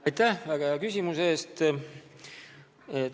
Aitäh väga hea küsimuse eest!